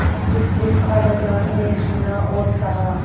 कुछ दिन खालाजान ने सुना और सहा